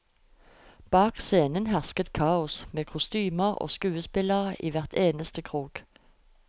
Bak scenen hersket kaos, med kostymer og skuespillere i hver eneste krok.